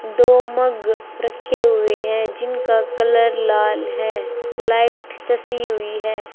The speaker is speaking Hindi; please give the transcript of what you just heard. दो मग रखे हुए हैं जिनका कलर लाल है लाइट जैसी हुई है।